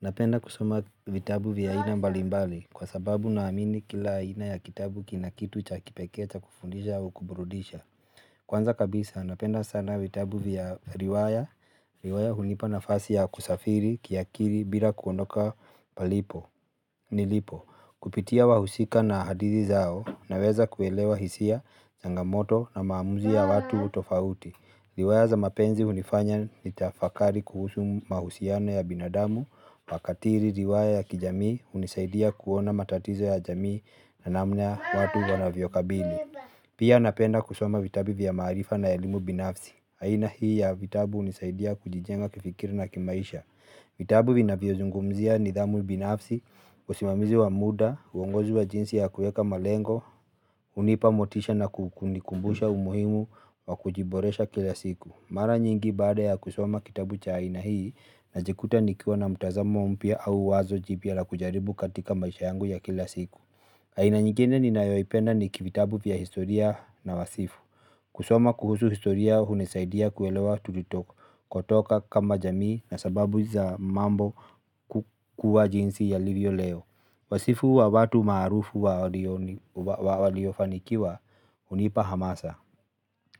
Napenda kusoma vitabu vya aina mbalimbali kwa sababu naamini kila aina ya kitabu kina kitu cha kipekee cha kufundisha au kuburudisha. Kwanza kabisa napenda sana vitabu vya riwaya, riwaya hunipa nafasi ya kusafiri, kiakili, bila kuondoka palipo, nilipo. Kupitia wahusika na hadithi zao naweza kuelewa hisia, changamoto na maamuzi ya watu tofauti. Riwaya za mapenzi unifanya nitafakari kuhusu mahusiana ya binadamu, makatili riwaya ya kijamii hunisaidia kuona matatizo ya jamii na namna watu wanavyokabili. Pia napenda kusoma vitabu vya maarifa na elimu binafsi. Aina hii ya vitabu hunisaidia kujijenga kifikiri na kimaisha. Vitabu vinvyozungumzia nidhamu binafsi, usimamizi wa muda, uongozi wa jinsi ya kuweka malengo, hunipa motisha na kukunikumbusha umuhimu wa kujiboresha kila siku mara nyingi baada ya kusoma kitabu cha aina hii najikuta nikiwa na mtazamo mpya au wazo jipya la kujaribu katika maisha yangu ya kila siku aina nyingine ninayoipenda ni kivitabu vya historia na wasifu. Kusoma kuhusu historia hunisaidia kuelewa tulikotoka kama jamii na sababu za mambo kuwa jinsi yalivyo. Leo wasifu wa watu maarufu wa waliofanikiwa hunipa hamasa.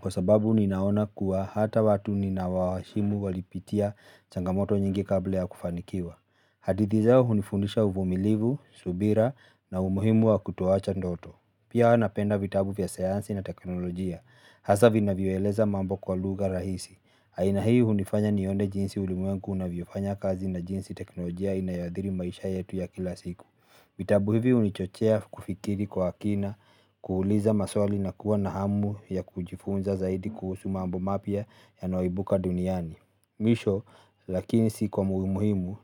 Kwa sababu ninaona kuwa hata watu ninawaheshimu walipitia changamoto nyingi kabla ya kufanikiwa. Hadithi zao hunifundisha uvumilivu, subira na umuhimu wa kutoacha ndoto. Pia napenda vitabu vya sayansi na teknolojia hasa vinavyoeleza mambo kwa lugha rahisi aina hii hunifanya nione jinsi ulimwengu unavyofanya kazi na jinsi teknolojia inayoathiri maisha yetu ya kila siku. Vitabu hivi hunichochea kufikiri kwa kina, kuuliza maswali na kuwa na hamu ya kujifunza zaidi kuhusu mambo mapya yanayoibuka duniani. Mwisho lakini si kwa muhimu muhimu,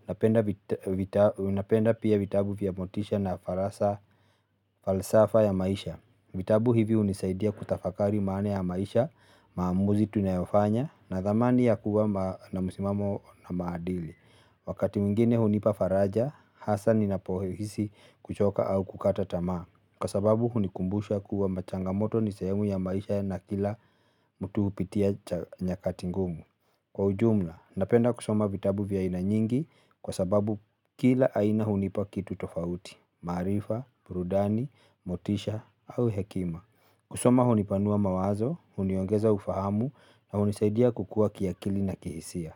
napenda pia vitabu vya motisha na farasa falsafa ya maisha. Vitabu hivi hunisaidia kutafakari maana ya maisha, maamuzi tunayofanya na thamani ya kuwa na msimamo na maadili. Wakati mwingine hunipa faraja, hasa ni napohisi kuchoka au kukata tamaa, kwa sababu hunikumbusha kuwa machangamoto ni sehemu ya maisha na kila mtu hupitia cha nyakati ngumu. Kwa ujumla napenda kusoma vitabu vya aina nyingi kwa sababu kila aina hunipa kitu tofauti, maarifa, burudani motisha au hekima. Kusoma hunipanua mawazo, huniongeza ufahamu na hunisaidia kukua kiakili na kihisia.